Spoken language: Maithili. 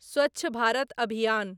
स्वच्छ भारत अभियान